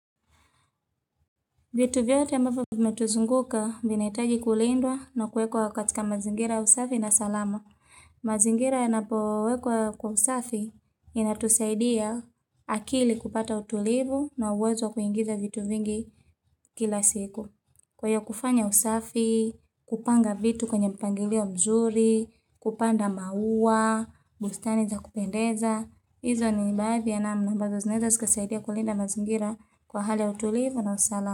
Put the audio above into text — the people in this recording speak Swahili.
Vitu vyote ambapo vimetuzunguka vinaitwaji kulindwa na kuwekwa katika mazingira usafi na salama. Mazingira yanapo wekwa kwa usafi yanatusaidia akili kupata utulivu na uwezo wa kuingiza vitu vingi kila siku. Kwaiyo kufanya usafi, kupanga vitu kwenye mpangilio mzuri, kupanda maua, bustani za kupendeza. Izo ni nibadhi ya namna ambazo zinaeza zikasaidia kulinda mazingira kwa hali ya utulivu na usala.